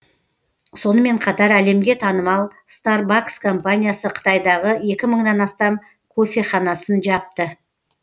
сонымен қатар әлемге танымал старбакс компаниясы қытайдағы екі мыңнан астам кофеханасын жапты